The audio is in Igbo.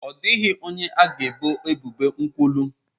Ọ dịghị onye a ga-ebo ebubo nkwulu!